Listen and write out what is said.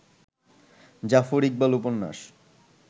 জাফর ইকবাল উপন্যাস